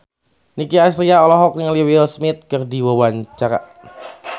Nicky Astria olohok ningali Will Smith keur diwawancara